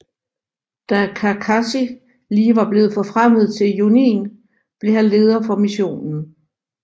Da Kakashi lige var blevet forfremmet til Jonin blev han leder for missionen